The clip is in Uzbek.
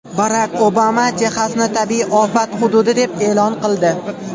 Barak Obama Texasni tabiiy ofat hududi deb e’lon qildi.